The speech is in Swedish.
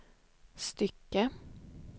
stycke